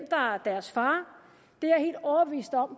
deres far